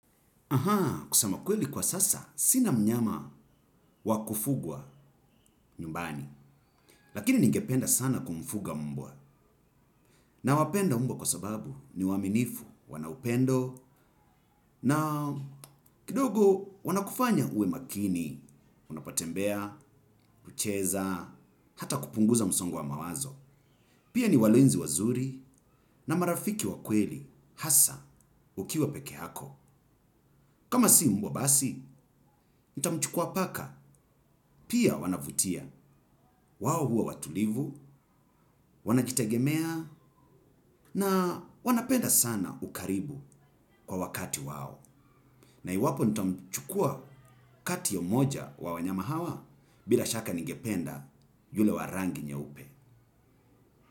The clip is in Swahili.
Aha, kusema kweli kwa sasa, sina mnyama wakufugwa nyumbani. Lakini ningependa sana kumfuga mbwa. Na wapenda mbwa kwa sababu ni waaminifu, wanaupendo na kidogo wanakufanya uwe makini. Unapotembea, kucheza, hata kupunguza msongwa mawazo. Pia ni walenzi wazuri na marafiki wakweli hasa ukiwa pekee yako. Kama si mbwa basi, nitamchukua paka, pia wanavutia. Wao huwa watulivu, wanajitegemea, na wanapenda sana ukaribu kwa wakati wao. Na iwapo nitamchukua kati ya mmoja wa wanyama hawa bila shaka ningependa yule wa rangi nyeupe.